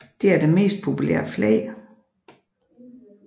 Det er det mest populære flag